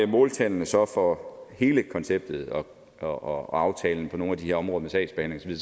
måltallene så for hele konceptet og aftalen på nogle af de her områder med sagsbehandling